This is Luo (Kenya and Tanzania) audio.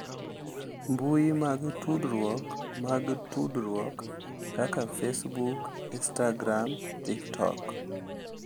mbui mag tudruok mag tudruok kaka Facebook, instagram, tiktok,